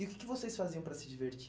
E o que que vocês faziam para se divertir?